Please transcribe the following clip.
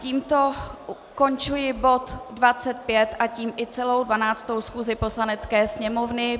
Tímto končím bod 25 a tím i celou 12. schůzi Poslanecké sněmovny.